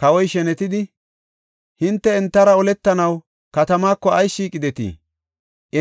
kawoy shenetidi, ‘Hinte entara oletanaw katamaako ayis shiiqidetii?